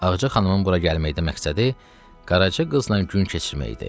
Ağca xanımın bura gəlməkdə məqsədi Qaraca qızla gün keçirmək idi.